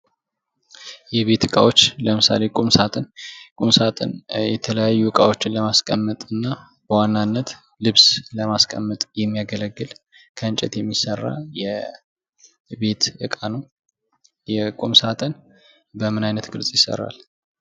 የቤት እቃዎች ለምሳሌ ቁም ሳጥን ቁም ሳጥን የተለያዩ እቃዎችን ለማስቀመጥ እና በዋናነት ልብስ ለማስቀመጥ የሚያገለግል ከእንጨት የሚሰራ የቤት እቃ ነው ። የቁም ሳጥን በምን አይነት ቅርፅ ይሰራል?